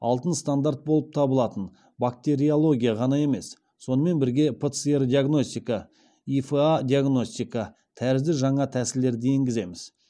алтын стандарт болып табылатын бактериология ғана емес сонымен бірге пцр диагностика ифа диагностика тәрізді жаңа тәсілдерді енгіземіз